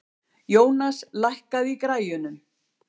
Jónas, lækkaðu í græjunum.